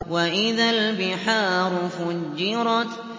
وَإِذَا الْبِحَارُ فُجِّرَتْ